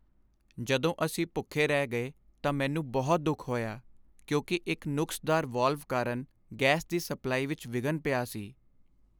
ਜਦੋਂ ਅਸੀਂ ਭੁੱਖੇ ਰਹਿ ਗਏ ਤਾਂ ਮੈਨੂੰ ਬਹੁਤ ਦੁੱਖ ਹੋਇਆ ਕਿਉਂਕਿ ਇੱਕ ਨੁਕਸਦਾਰ ਵਾਲਵ ਕਾਰਨ ਗੈਸ ਦੀ ਸਪਲਾਈ ਵਿੱਚ ਵਿਘਨ ਪਿਆ ਸੀ।